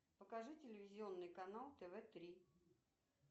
покажи телевизионный канал тв три